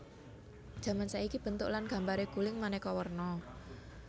Jaman saiki bentuk lan gambaré guling manéka warna